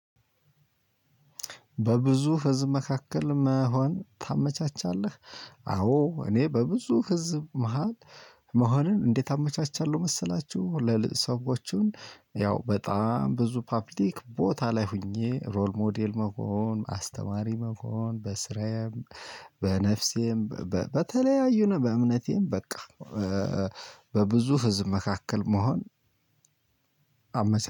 በብዙ ህዝብ መካከል መሆን ታመቻቻለህ? አዎ እኔ በብዙ ህዝብ መሃል። መሆንን እንዴት አመቻቻለሁ መሰላችሁ። ለሰዎችን ያው በጣም ብዙ ፓብሊክ ቦታ ላይ ሆኜ ሮል ሞዴል መሆን አስተማሪ መሆን በስራዬም በነፍሴም በተለያዩነት በእምነቴም በቃ። በብዙ ህዝብ መካከል መሆን። አመሰግናለሁ